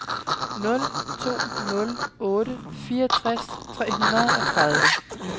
nul to nul otte fireogtres tre hundrede og tredive